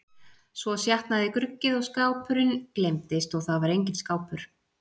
Svo sjatnaði gruggið og skápurinn gleymdist og það var enginn skápur.